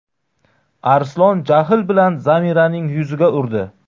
Arslon jahl bilan Zamiraning yuziga urdi.